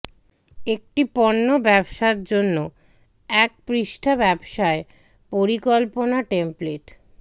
একটি পণ্য ব্যবসা জন্য এক পৃষ্ঠা ব্যবসায় পরিকল্পনা টেমপ্লেট